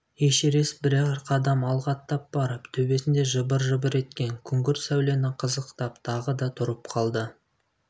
эшерест бірер қадам алға аттап барып төбесінде жыбыр-жыбыр еткен күңгірт сәулені қызықтап тағы да тұрып қалды